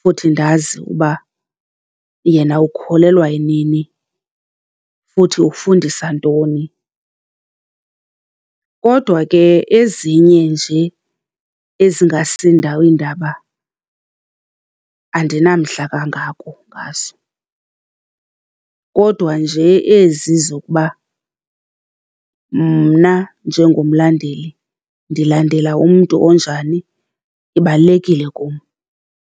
futhi ndazi uba yena ukholelwa eneni, futhi ufundisa ntoni. Kodwa ke ezinye nje ezingasi ndawo iindaba andinamdla kangako ngazo. Kodwa nje ezi zokuba mna njengomlandeli ndilandela umntu onjani, ibalulekile kum.